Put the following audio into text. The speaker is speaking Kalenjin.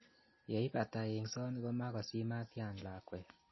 Yeipata eng'soni kamakosimatian lakwet.